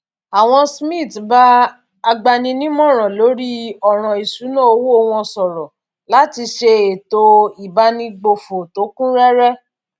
àwọn smiths bá agbaninímòràn lórí òràn ìṣúnná owó wọn sòrò láti ṣe ètò ìbánigbófò tó kún réré